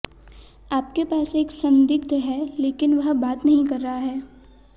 आपके पास एक संदिग्ध है लेकिन वह बात नहीं कर रहा है